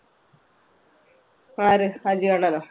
ആര് അജി അണ്ണനോ?